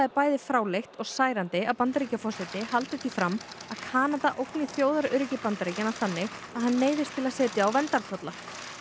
bæði fráleitt og særandi að Bandaríkjaforseti haldi því fram að Kanada ógni þjóðaröryggi Bandaríkjanna þannig að hann neyðist til að setja á verndartolla